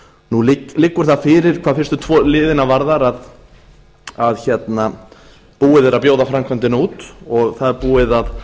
nú liggur það fyrir hvað fyrstu tvo liðina varðar að búið að bjóða framkvæmdina út og það er búið að